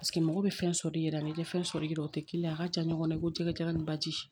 Paseke mɔgɔ bɛ fɛn sɔrɔ i yɛrɛ ni tɛ fɛn sɔrɔ i yɛrɛ ye tɛ kelen ye a ka ja ɲɔgɔnna i ko jɛgɛ jala ni baji